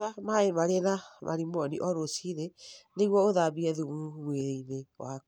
Nyua maĩ marĩ na marimoni o rũcinĩ nĩguo ũthambie thumu mwĩrĩ-inĩ waku.